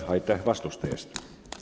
Aitäh vastuste eest!